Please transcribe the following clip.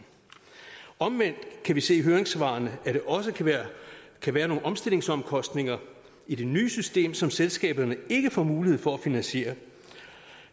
omvendt kan vi se af høringssvarene at der også kan være nogle omstillingsomkostninger i det nye system som selskaberne ikke får mulighed for at finansiere